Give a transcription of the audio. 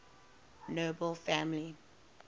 nobel family